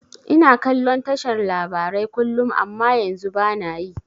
Ina kallon tashar labarai kullum amma yanzu bana yi